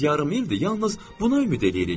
Düz yarım ildir yalnız buna ümid eləyirik.